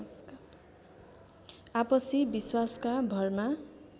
आपसी विश्वासका भरमा